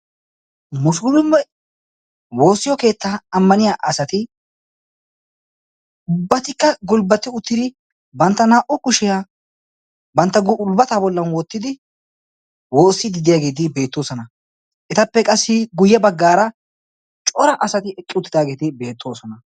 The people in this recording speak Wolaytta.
musulume woossiyo keettaa ammaniya asati ubbatikka gulbbati uttidi bantta naa77u kushiyaa bantta gulbbataa bollan wottidi woossiiddi diyaageeti beettoosona. etappe qassi guyye baggaara cora asati eqqi uttidaageeti beettoosona.